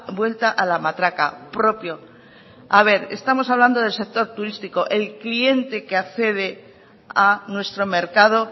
vuelta a la matraca propio a ver estamos hablando del sector turístico el cliente que accede a nuestro mercado